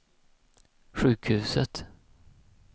sjukhuset